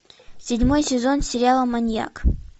седьмой сезон сериала маньяк